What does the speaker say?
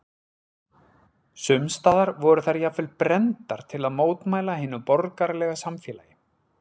Sums staðar voru þær jafnvel brenndar til að mótmæla hinu borgaralega samfélagi.